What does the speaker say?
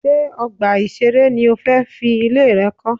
Ṣé ọgbà ìṣeré ni o fẹ́ fi ilẹ̀ rẹ kọ́?